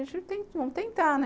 A gente, vamos vamos tentar, né?